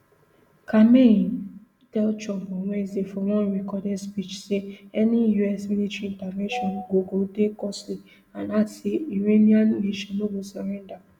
khamenei tell trump on wednesday for one recorded speech say any us military intervention go go dey costly and add say iranian nation no go surrender